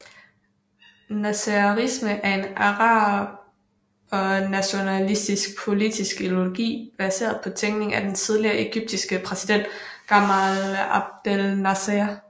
Nasserisme er en arabernationalistisk politisk ideologi baseret på tænkningen til den tidligere egyptiske præsident Gamal Abdel Nasser